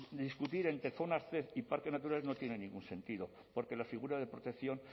de discutir entre zonas zep y parques naturales no tiene ningún sentido porque la figura de protección